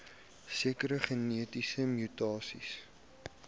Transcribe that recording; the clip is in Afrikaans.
sekere genetiese mutasies